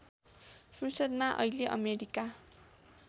फुर्सदमा अहिले अमेरिका